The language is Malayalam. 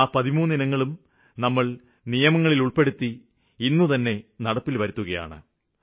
ആ 13 ഇനങ്ങളും നമ്മള് നിയമങ്ങളില് ഉള്പ്പെടുത്തി ഇന്നുതന്നെ നടപ്പില് വരുത്തുകയാണ്